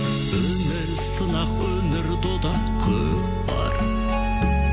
өмір сынақ өмір дода көкпар